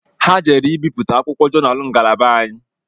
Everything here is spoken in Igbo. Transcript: Ha jere ibipụta akwụkwọ jonal ngalaba anyị